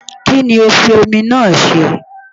Kí ni o fi omi náà ṣe?